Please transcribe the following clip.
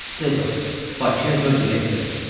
Tez ol, Bakıya dörd bilet ver.